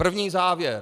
První závěr.